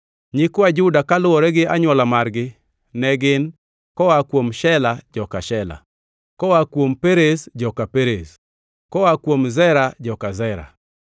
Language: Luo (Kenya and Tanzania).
Nyikwa Juda kaluwore gi anywola margi ne gin: koa kuom Shela, joka Shela; koa kuom Perez, joka Perez; koa kuom Zera, joka Zera.